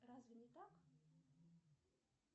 разве не так